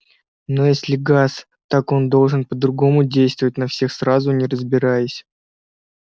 но если газ так он должен по-другому действовать на всех сразу не разбираясь